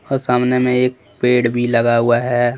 और सामने में एक पेड़ भी लगा हुआ है।